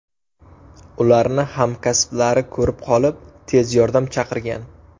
Ularni hamkasblari ko‘rib qolib, tez yordam chaqirgan.